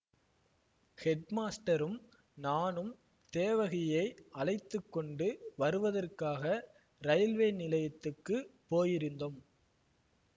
ஹெட்மாஸ்டரும் நானும் தேவகியை அழைத்து கொண்டு வருவதற்காக ரயில்வே நிலையத்துக்குப் போயிருந்தோம்